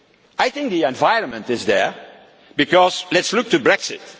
do it? I think the environment is there because, let us look to